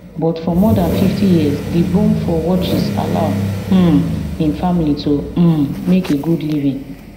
but for more dan fifty years di boom for watches allow um im family to um make a good living